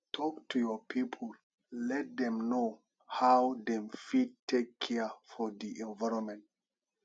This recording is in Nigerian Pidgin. talk to your pipo let dem know how dem fit take care for di environment